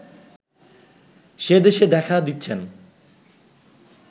সে দেশে দেখা দিচ্ছেন